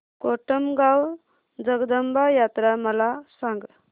कोटमगाव जगदंबा यात्रा मला सांग